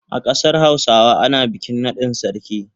A kasar Hausawa ana bikin nadin sarki.